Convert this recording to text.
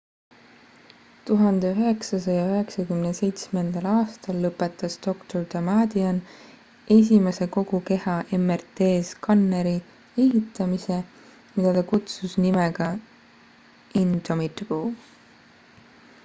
1997 aastal lõpetas dr damadian esimese kogu keha mrt-skanneri ehitamise mida ta kutsus nimega indomitable